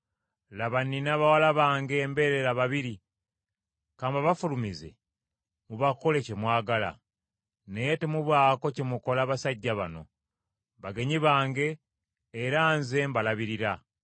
Laba, nnina bawala bange embeerera babiri, ka mbabafulumize, mubakole kye mwagala; naye temubaako kye mukola basajja bano, bagenyi bange era nze mbalabirira.”